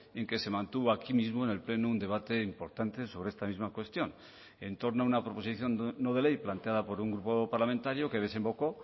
en que se mantuvo aquí mismo en el pleno un debate importante sobre esta misma cuestión en torno a una proposición no de ley planteada por un grupo parlamentario que desembocó